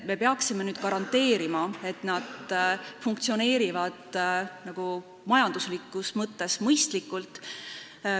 Me peaksime nüüd garanteerima, et need funktsioneerivad majanduslikus mõttes mõistlikult.